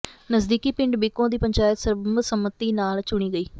ਨਜ਼ਦੀਕੀ ਪਿੰਡ ਬਿੱਕੋਂ ਦੀ ਪੰਚਾਇਤ ਸਰਬਸੰਮਤੀ ਨਾਲ ਚੁਣੀ ਗਈ